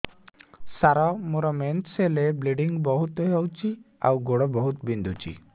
ସାର ମୋର ମେନ୍ସେସ ହେଲେ ବ୍ଲିଡ଼ିଙ୍ଗ ବହୁତ ହଉଚି ଆଉ ଗୋଡ ବହୁତ ବିନ୍ଧୁଚି